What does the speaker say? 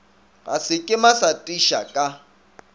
ga sekema sa tisa ka